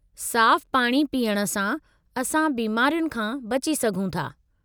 साफ़ु पाणी पीअणु सां, असां बीमारियुनि खां बची सघूं था।